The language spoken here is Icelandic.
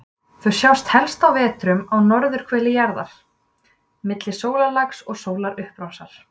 Þau sjást helst á vetrum á norðurhveli jarðar, milli sólarlags og sólarupprásar.